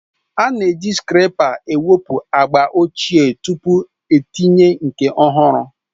A na-eji skreepa ewepụ agba ochie tupu itinye nke ọhụrụ